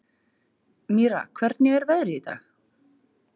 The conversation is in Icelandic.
Mýra, hvernig er veðrið í dag?